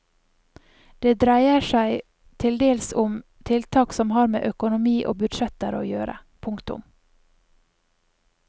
Det dreier seg til dels om tiltak som har med økonomi og budsjetter å gjøre. punktum